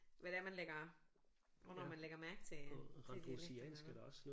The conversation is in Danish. Hvad det er man lægger hvornår man lægger mærke til øh til dialekterne